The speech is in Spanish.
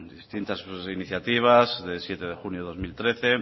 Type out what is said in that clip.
distintas iniciativas de siete de junio de dos mil trece